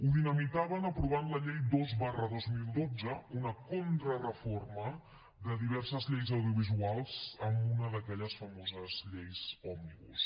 el dinamitaven aprovant la llei dos dos mil dotze una contrareforma de diverses lleis audiovisuals amb una d’aquelles famoses lleis òmnibus